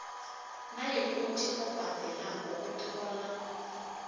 nayikuthi obhadelako uthola